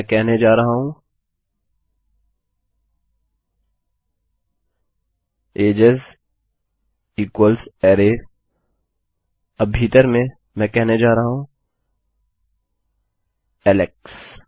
मैं कहने जा रहा हूँ एजेस इक्वल्स अरै अब भीतर मैं कहने जा रहा हूँ एलेक्स